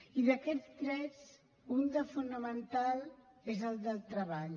i d’aquests drets un de fonamental és el del treball